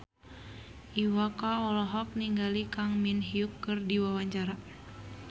Iwa K olohok ningali Kang Min Hyuk keur diwawancara